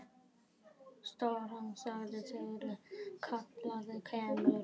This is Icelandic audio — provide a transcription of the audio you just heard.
Stjórna þangað til kallið kemur.